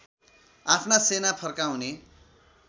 आफ्ना सेना फर्काउने